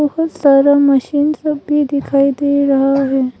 और solar machine सब भी दिखाई दे रहा है।